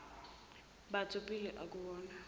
batho pele akuwona